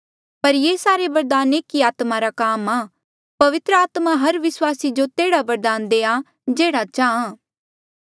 पर ये सारे बरदान एक ही आत्मा रा काम आ पवित्र आत्मा हर विस्वासी जो तेह्ड़ा बरदान देआ जेह्ड़ा चाहां